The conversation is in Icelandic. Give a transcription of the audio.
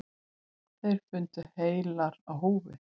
Þær fundust heilar á húfi.